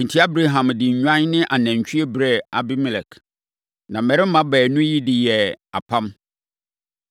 Enti, Abraham de nnwan ne anantwie brɛɛ Abimelek. Na mmarima baanu yi de yɛɛ apam.